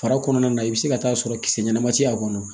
Fara kɔnɔna na i bɛ se ka taa sɔrɔ kisɛ ɲɛnama tɛ a kɔnɔ